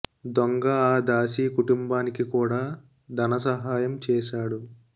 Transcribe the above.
దొంగ ఆ దాసీ కుటుంబానికి కూడా ధనసహాయం చేశాడు